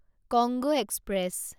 Congo express